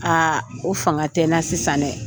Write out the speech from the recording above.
o fanga tɛ n na sisan dɛ!